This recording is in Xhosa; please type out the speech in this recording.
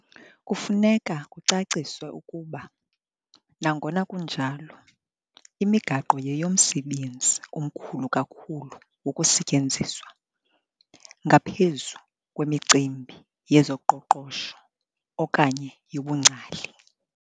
Kufuneka kucaciswe ukuba, nangona kunjalo, imigaqo yeyomsebenzi omkhulu kakhulu wokusetyenziswa, ngaphezu kwemicimbi yezoqoqosho okanye yobungcali.